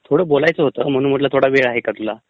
थोडं बोलायचं होतं, म्हणून म्हटलं वेळ आहे का तुला...?